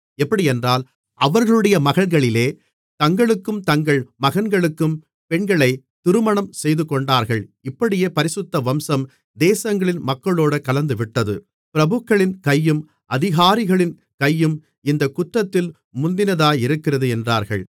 எப்படியென்றால் அவர்களுடைய மகள்களிலே தங்களுக்கும் தங்கள் மகன்களுக்கும் பெண்களைத் திருமணம் செய்துகொண்டார்கள் இப்படியே பரிசுத்த வம்சம் தேசங்களின் மக்களோடே கலந்துவிட்டது பிரபுக்களின் கையும் அதிகாரிகளின் கையும் இந்தக் குற்றத்தில் முந்தினதாயிருக்கிறது என்றார்கள்